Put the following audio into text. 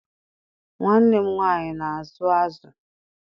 Nwanne m nwaanyị na-azụ azụ.